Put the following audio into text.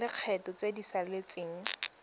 tsa lekgetho tse di saletseng